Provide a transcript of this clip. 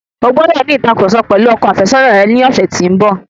O gbọ́dọ̀ ní ìtàkurọ̀sọ pẹ̀lú ọkọ àfẹ́sọ̀na rẹ ní ọ̀sẹ̀ tí ń bọ̀.